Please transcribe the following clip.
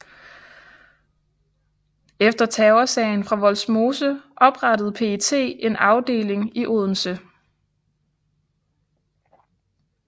Efter Terrorsagen fra Vollsmose oprettede PET en afdeling i Odense